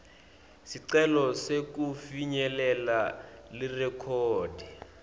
sicelo sekufinyelela lirekhodi